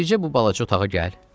Bircə bu balaca otağa gəl.